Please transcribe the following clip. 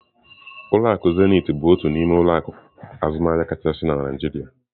Ulọ akụ Zenith bụ otu n'ime ụlọ akụ azụmaahịa kachasị na Naijiria.